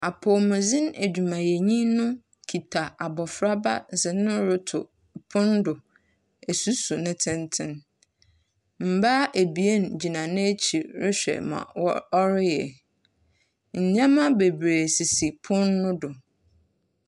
Apɔwmudzen edwumayɛnyi no kita abofraba dze no roto pon do esusu ne tsentsen. Mbaa ebien gyina n’ekyir rohwɛ dza wɔ ɔreyɛ. Ndzɛmbabeberee gugu pon no do.